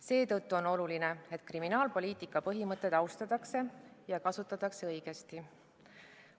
Seetõttu on oluline, et kriminaalpoliitika põhimõtteid austataks ja kasutataks õigesti.